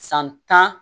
San tan